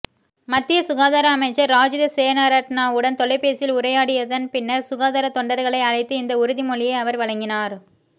மத்திய சுகாதார அமைச்சர் ராஜித சேனாரட்னவுடன் தொலைபேசியில் உரையாடியதன் பின்னர் சுகாதாரத் தொண்டர்களை அழைத்து இந்த உறுதிமொழியை அவர் வழங்கினார்